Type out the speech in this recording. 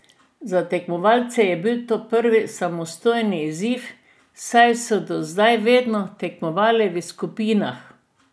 Za tekmovalce je bil to prvi samostojni izziv, saj so do zdaj vedno tekmovali v skupinah.